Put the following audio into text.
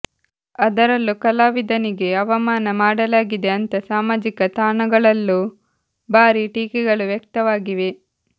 ಅದರಲ್ಲೂ ಕಲಾವಿದನಿಗೆ ಅವಮಾನ ಮಾಡಲಾಗಿದೆ ಅಂತಾ ಸಾಮಾಜಿಕ ತಾಣಗಳಲ್ಲೂ ಭಾರೀ ಟೀಕೆಗಳು ವ್ಯಕ್ತವಾಗಿದೆ